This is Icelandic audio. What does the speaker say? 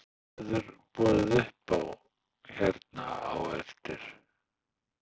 En hvað verður boðið upp á hérna á eftir?